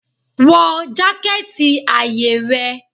Wọ jaketi aye rẹ?